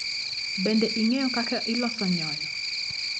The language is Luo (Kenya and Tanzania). Bende ing'eyo kaka iloso nyoyo?